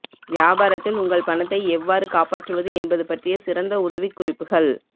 வியாபாரத்தில் உங்கள் பணத்தை எவ்வாறு காப்பாற்றுவது என்பது பற்றிய சிறந்த உதவிக்குறிப்புகள்